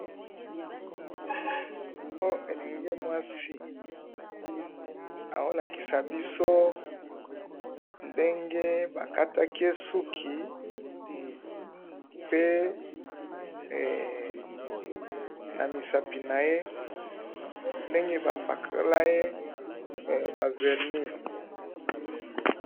Oyo elenge mwasi, azolakisa biso ndenge bakataki ye suki, mpe namisapi naye ndenge bapakolaye ma vernis.